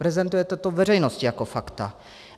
Prezentujete to veřejnosti jako fakta.